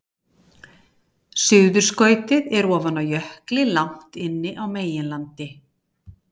Suðurskautið er ofan á jökli langt inni á meginlandi.